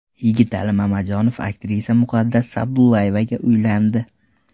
Yigitali Mamajonov aktrisa Muqaddas Sa’dullayevaga uylandi.